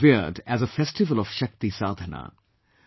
This is revered as a festival of Shakti Sadhana